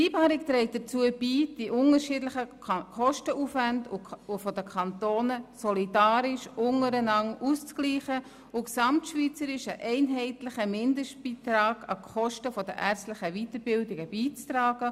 Die Vereinbarung trägt dazu bei, die unterschiedlichen Kostenaufwände der Kantone solidarisch untereinander auszugleichen und gesamtschweizerisch einen einheitlichen Mindestbeitrag an die Kosten der ärztlichen Weiterbildung beizutragen.